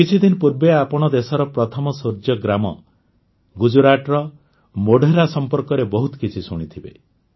କିଛିଦିନ ପୂର୍ବେ ଆପଣ ଦେଶର ପ୍ରଥମ ସୂର୍ଯ୍ୟ ଗ୍ରାମ ଗୁଜରାଟର ମୋଢେରା ସମ୍ପର୍କରେ ବହୁତ କିଛି ଶୁଣିଥିବେ